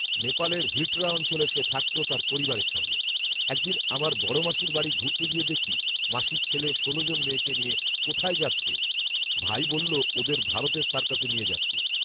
নেপালের হিটড়া অঞ্চলে সে থাকত তার পরিবারের সঙ্গে। ‘এক দিন আমার বড়মাসির বাড়ি ঘুরতে গিয়ে দেখি, মাসির ছেলে ষোল জন মেয়েকে নিয়ে কোথায় যাচ্ছে, ভাই বলল ওদের ভারতের সার্কাসে নিয়ে যাচ্ছি।